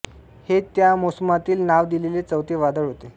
हे त्या मोसमातील नाव दिलेले चौथे वादळ होते